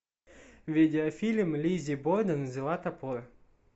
видеофильм лиззи борден взяла топор